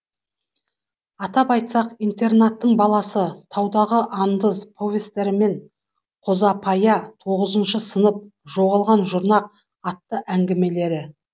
атап айтсақ интернаттың баласы таудағы андыз повестері мен қозапая тоғызыншы сынып жоғалған жұрнақ атты әңгімелері